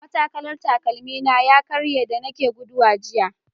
Matakalan takalmina ya karye da nake gudawa jiya.